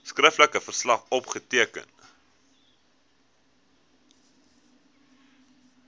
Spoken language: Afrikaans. skriftelike verslag opgeteken